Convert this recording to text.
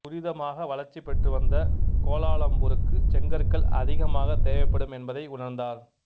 துரிதமாக வளர்ச்சி பெற்று வந்த கோலாலம்பூருக்கு செங்கற்கள் அதிகமாகத் தேவைப்படும் என்பதை உணர்ந்தார்